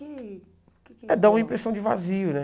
E... É, dá uma impressão de vazio, né?